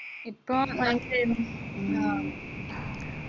ഇപ്പോ ഓലെന്താ ചെയ്യുന്നേ ആ